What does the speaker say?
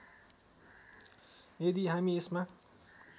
यदि हामी यसमा